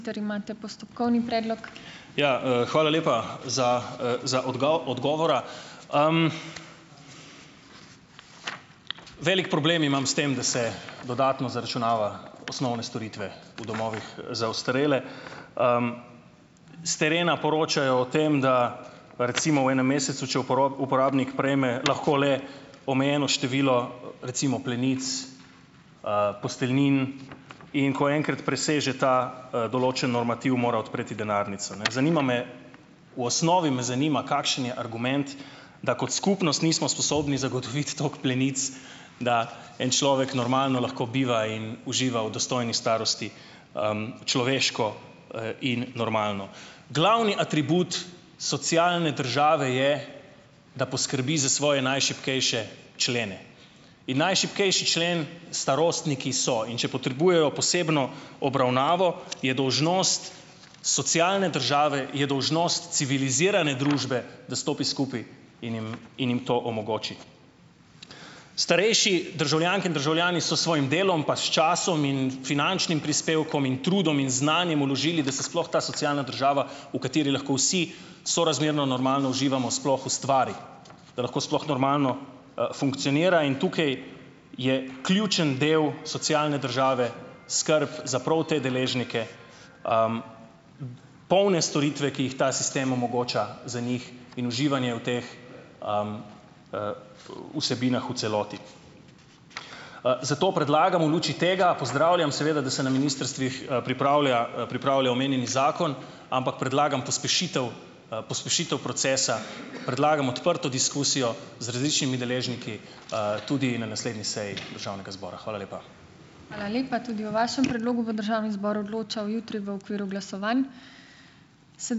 Ja, hvala lepa za, za odgovora! Velik problem imam s tem, da se dodatno zaračunava osnovne storitve v domovih za ostarele. S terena poročajo o tem, da recimo v enem mesecu, če uporabnik prejme, lahko le, omejeno število, recimo plenic, posteljnin, in ko enkrat preseže ta, določeni normativ, mora odpreti denarnico, ne. Zanima me ... V osnovi me zanima, kakšen je argument, da kot skupnost nismo sposobni zagotoviti tako plenic, da en človek normalno lahko biva in uživa v dostojni starosti, človeško, in normalno. Glavni atribut socialne države je, da poskrbi za svoje najšibkejše člene in najšibkejši člen starostniki so, in če potrebujejo posebno obravnavo, je dolžnost socialne države, je dolžnost civilizirane družbe, da stopi skupaj in jim in jim to omogoči. Starejši državljanke in državljani so s svojim delom pa s časom in finančnim prispevkom in trudom in znanjem vložili, da se sploh ta socialna država, v kateri lahko vsi sorazmerno normalno uživamo, sploh ustvari, da lahko sploh normalno, funkcionira in tukaj je ključen del socialne države, skrb za prav te deležnike, polne storitve, ki jih ta sistem omogoča za njih in uživanje v teh, vsebinah v celoti. Zato predlagam v luči tega, pozdravljam seveda, da se na ministrstvih, pripravlja pripravlja omenjeni zakon, ampak predlagam pospešitev, pospešitev procesa, predlagam odprto diskusijo z različnimi deležniki, tudi na naslednji seji državnega zbora. Hvala lepa.